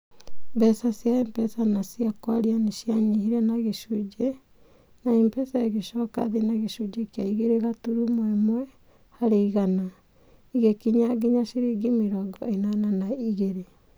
Mbeca cia M-Pesa na cia kwaria nĩ cianyihire na gicunji. na M-Pesa ĩgĩcoka thĩ na gĩcunjĩ kĩa igere gaturumo ĩmwe harĩ igana. Ĩgikinya nginya ciringi mĨrongo Ĩnana na igere.